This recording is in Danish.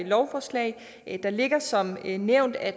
lovforslag der ligger som nævnt at